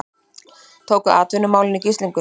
Tóku atvinnumálin í gíslingu